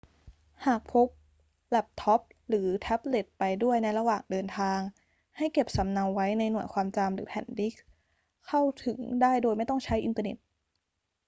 หากพกแล็ปท็อปหรือแท็บเล็ตไปด้วยในระหว่างเดินทาง ให้เก็บสำเนาไว้ในหน่วยความจำหรือแผ่นดิสก์ เข้าถึงได้โดยไม่ต้องใช้อินเทอร์เน็ต